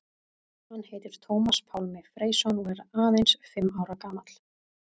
Hann heitir Tómas Pálmi Freysson og er aðeins fimm ára gamall.